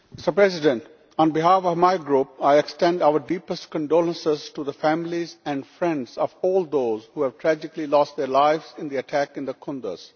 Mr President, on behalf of my Group I extend our deepest condolences to the families and friends of all those who have tragically lost their lives in the attack in Kunduz.